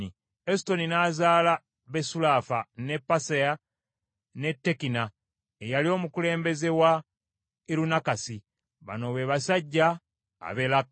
Esutoni n’azaala Besulafa, ne Paseya, ne Tekina eyali omukulembeze wa Irunakasi. Bano be basajja ab’e Leka.